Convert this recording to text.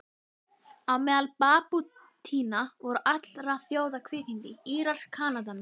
Á meðal babúítanna voru allra þjóða kvikindi, Írar, Kanadamenn